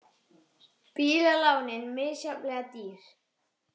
Bílalánin misjafnlega dýr